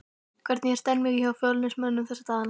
Hvernig er stemningin hjá Fjölnismönnum þessa dagana?